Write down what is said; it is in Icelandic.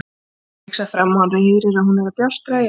Hún rigsar fram og hann heyrir að hún fer að bjástra í eldhúsinu.